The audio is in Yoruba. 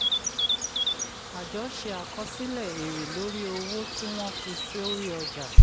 àjọ ṣe àkọsílẹ̀ èrè lóri owó tí wọ́n fi sórí ọjà.